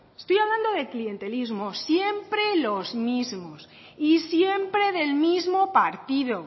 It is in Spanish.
estoy hablando de clientelismo siempre los mismos y siempre del mismo partido